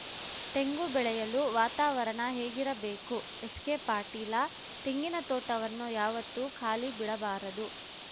ತೆಂಗು ಬೆಳೆಯಲು ವಾತಾವರಣ ಹೇಗಿರಬೇಕು ಎಸ್‌ಕೆ ಪಾಟೀಲ ತೆಂಗಿನ ತೋಟವನ್ನು ಯಾವತ್ತೂ ಖಾಲಿ ಬಿಡಬಾರದು